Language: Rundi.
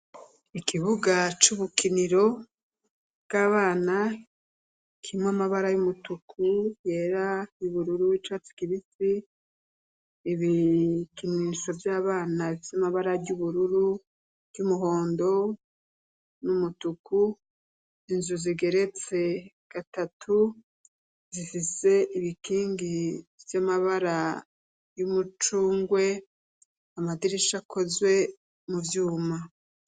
Ikibuga c'ubukiniro bw'abana, kirimwo amabara y'umutuku, ayera, ay'ubururu, ay'icatsi kibisi, ibikinisho vy'abana vy'amabara y'ubururu, ivy'umuhondo n'umutuku, inzu zigeretse gatatu zifise ibikingi vy'amabara y'umucungwe, amadirisha akozwe mu vyuma.